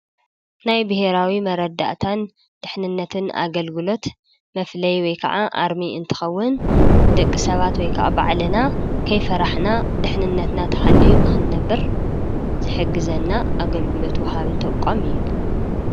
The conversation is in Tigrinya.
ናይ ብሄራዊ መረዳእታን ድሕንነትን አገልግሎት መፍለዪ ወይ ከዓ አርሚ እንትኸዉን ደቂ ሰባት ወይ ከዓ ባዕልና ከይፈራሕና ድሕንነትና ተሓልዩ ንክንነብር ዝሕግዘና አገልግሎት ወሃቢ ተቋም እዩ።